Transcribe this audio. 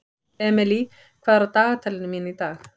Emely, hvað er á dagatalinu mínu í dag?